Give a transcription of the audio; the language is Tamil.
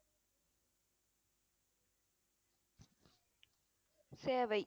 சேவை